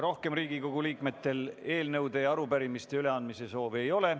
Rohkem Riigikogu liikmetel eelnõude ja arupärimiste üleandmise soovi ei ole.